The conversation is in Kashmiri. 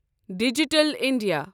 digital India